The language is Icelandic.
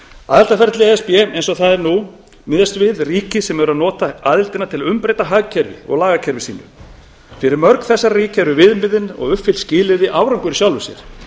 aðildarferli e s b eins og það er nú miðast við ríki sem eru að nota aðildina til að umbreyta hagkerfi og lagakerfi sínu fyrir mörg þessara ríkja eru viðmiðin og uppfyllt skilyrði árangur í sjálfu sér